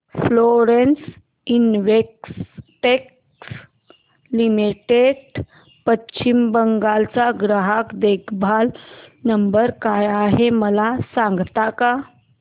Florence Investec limited Paschim Bengal चा ग्राहक देखभाल नंबर काय आहे मला सांगता का